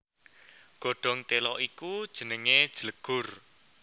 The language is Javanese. Godhong téla iku jenengé jlegur